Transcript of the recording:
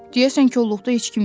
Deyəsən kolluqda heç kim yoxdur.